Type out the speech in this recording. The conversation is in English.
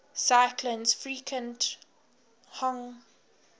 cyclones frequent hong